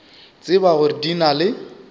tseba gore di na le